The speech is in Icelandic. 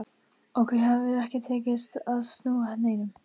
Okkur hefur ekki tekist að snúa neinum.